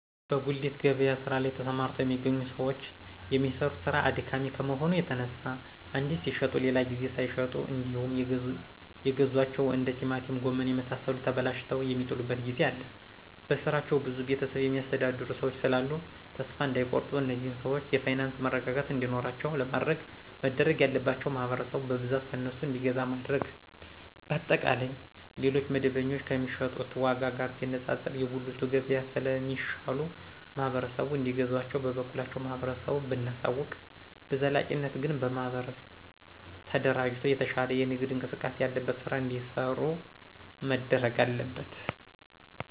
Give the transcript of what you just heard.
በጉሊት ገበያ ስራ ላይ ተሰማርተው የሚገኙ ሰዎች የሚሰሩት ስራ አድካሚ ከመሆኑ የተነሳ አንዴ ሲሽጡ ሌላ ጊዜ ሳይሸጡ እንዴውም የገዟቸው እንደ ቲማቲም ጎመን የመሳሰሉት ተበላሽተው የሚጥሉበት ጊዜ አለ በስራቸው ብዙ ቤተሰብ የሚያስተዳድሩ ሰዎች ስላሉ ተሰፋ እዳይቆርጡ እነዚህን ሰዎች የፋይናንስ መረጋጋት እንዲኖራቸው ለማድረግ መደረግ ያለባቸው ማህበረሰቡ በብዛት ከእነሱ እንዲገዛ ማድረግ። በአጠቃላይ ሌሎች መደበኞ ከሚሸጡት ዎጋ ጋር ሲነጣጠር የጉልቱ ገብያ ስለ ሚሻሉ ማህበረሰቡ እንዲገዛቸው በበኩላችን ለማህበረሰቡ ብናሳውቅ።። በዘላቂነት ግን በማህበር አደራጅቶ የተሻለ የንግድ እንቅስቃሴ ያለበት ስራ እዲሰሩ መደረግ አለበት